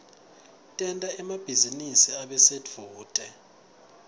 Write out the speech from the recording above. tenta emabhizinisi abe sedvute